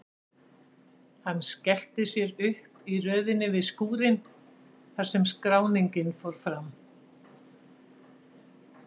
Hann stillti sér upp í röðinni við skúrinn þar sem skráningin fór fram.